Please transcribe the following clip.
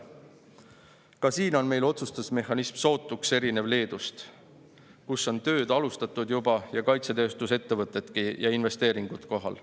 Ka siin on meie otsustusmehhanism sootuks erinev Leedu omast, kus on tööd juba alustatud ja kaitsetööstusettevõtted ja investeeringudki kohal.